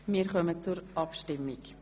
– Wir kommen zur Abstimmung.